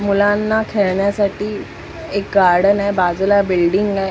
मुलांना खेळण्यासाठी एक गार्डन आहे बाजूला बिल्डिंग आहे.